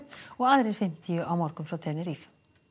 og aðrir fimmtíu á morgun frá Tenerife